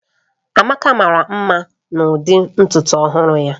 Amaka mara mma n'ụdị ntutu ọhụrụ ya